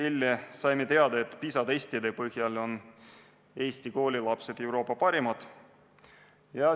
Eile saime teada, et PISA testide põhjal on Eesti koolilapsed Euroopa parimad.